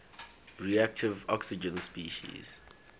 reactive oxygen species